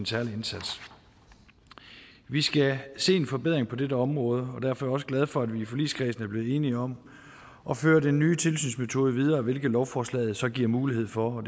særlige indsats vi skal se en forbedring på dette område og derfor er jeg også glad for at vi i forligskredsen er blevet enige om at føre den nye tilsynsmetode videre hvilket lovforslaget så giver mulighed for